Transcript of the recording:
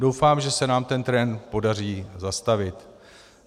Doufám, že se nám ten trend podaří zastavit.